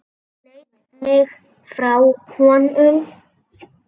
Sleit mig frá honum.